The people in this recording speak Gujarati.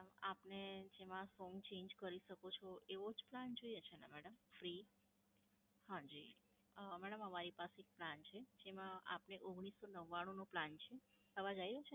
આપને જેમાં song change કરી શકો છો એવો જ plan જોઈએ છે ને madam free? હાંજી, અ madam અમારી પાસે એક plan છે. આપને ઓગણીસો નવ્વાણું નું plan છે. અવાજ આયો?